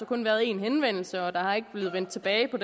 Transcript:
kun været én henvendelse og der er ikke blevet vendt tilbage i